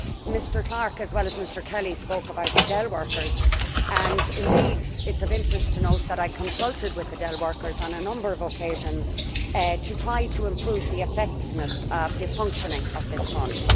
Mr Clark, as well as Mr Kelly, spoke about the Dell workers and indeed it is of interest to know that I consulted with the Dell workers on a number of occasions, to try to improve the effectiveness of the functioning of this fund.